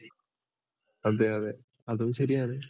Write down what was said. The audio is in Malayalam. അതെ അതെ അതും ശരിയാണ്.